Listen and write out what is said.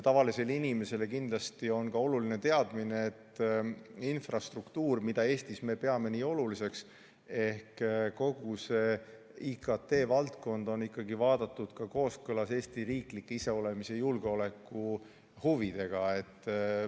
Tavalisele inimesele on kindlasti oluline ka teadmine, et infrastruktuuri, mida me Eestis nii oluliseks peame, ehk kogu IKT valdkonda on vaadatud kooskõlas Eesti riikliku iseolemise ja julgeoleku huvidega.